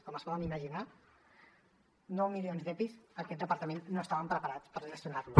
com es poden imaginar nou milions d’epis aquest departament no estàvem preparats per gestionar los